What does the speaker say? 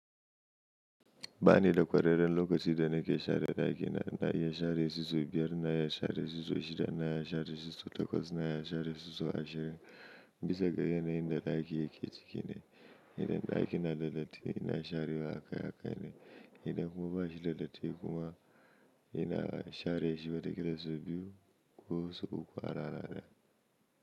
Ba ni da kwareren lokacin da na ke share daki na, na ya share sosai biyar, na ya share sosai shida, na ya share sosai takwas, na ya share sosai ashirin, bisa ga yanayin da dake yake ciki ne, yanayin daki na da datti ina share akai akai ne, idan kuma bashi da datti kuma ina share shi wata kila sau biyu ko sau uku a rana daya.